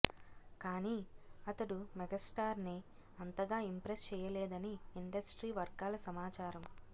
కానీ అతడు మెగాస్టార్ని అంతగా ఇంప్రెస్ చెయ్యలేదని ఇండస్ట్రీ వర్గాల సమాచారం